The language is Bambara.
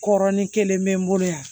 Kɔrɔn ni kelen bɛ n bolo yan